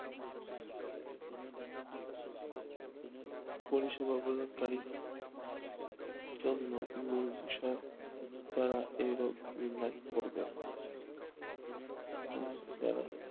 পরিষেবা প্রদানকারি জন্য মূল বিষয় নির্বিসক যারা এই রোগ নির্ণয় করবে যারা